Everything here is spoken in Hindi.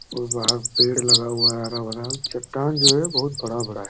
और वहां पेड़ लगा हुआ है हरा भरा चट्टान जो है बहुत बड़ा बड़ा हैं।